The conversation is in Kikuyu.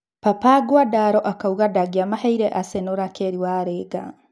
Papa Nguandaro akauga ndangĩamaheire Aseno Rakeri Warĩnga.